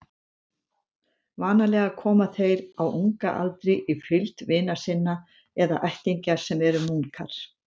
Vanalega koma þeir á unga aldri í fylgd vina sinna eða ættingja sem eru munkar.